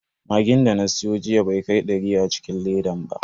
Magin da na siyo jiya bai kai dari a cikin ledan ba.